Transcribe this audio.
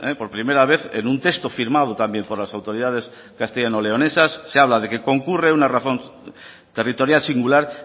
por primera vez en un texto firmado también por las autoridades castellano leonesas se habla de que concurre una razón territorial singular